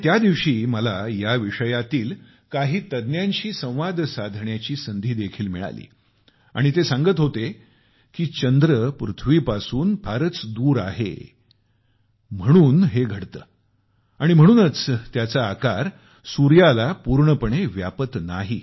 आणि त्या दिवशी मला या विषयातील काही तज्ञांशी संवाद साधण्याची संधी देखील मिळाली आणि ते सांगत होते की चंद्र पृथ्वीपासून फारच दूर आहे म्हणून हे घडते आणि म्हणूनच त्याचा आकार सूर्याला पूर्णपणे व्यापत नाही